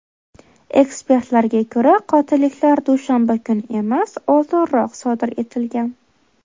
Ekspertlarga ko‘ra, qotilliklar dushanba kuni emas, oldinroq sodir etilgan.